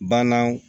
Bananw